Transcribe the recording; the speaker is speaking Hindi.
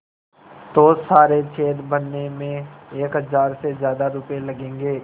तो सारे छेद भरने में एक हज़ार से ज़्यादा रुपये लगेंगे